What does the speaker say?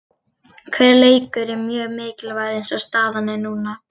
Hver leikur er mjög mikilvægur eins og staðan er núna.